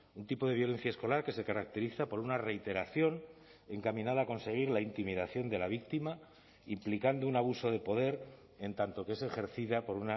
un tipo de violencia escolar que se caracteriza por una reiteración encaminada a conseguir la intimidación de la víctima implicando un abuso de poder en tanto que es ejercida por